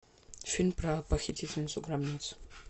фильм про похитительницу гробниц